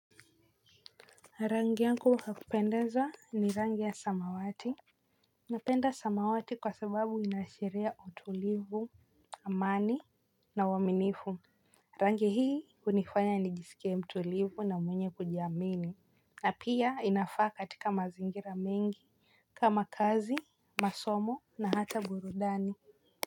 Rangi yangu ya kupendeza ni rangi ya samawati napenda samawati kwa sababu inaashiria utulivu amani na uaminifu rangi hii hunifanya nijisike mtulivu na mwenye kujiamini na pia inafaa katika mazingira mengi kama kazi masomo na hata burudani.